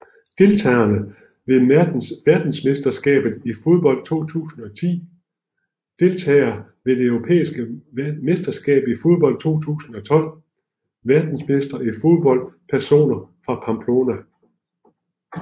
Deltagere ved verdensmesterskabet i fodbold 2010 Deltagere ved det europæiske mesterskab i fodbold 2012 Verdensmestre i fodbold Personer fra Pamplona